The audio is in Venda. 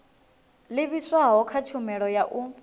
livhiswaho kha tshumelo ya u